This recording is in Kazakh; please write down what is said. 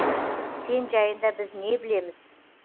сен жайында біз не білеміз